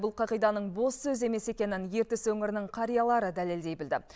бұл қағиданың бос сөз емес екенін ертіс өңірінің қариялары дәлелдей білді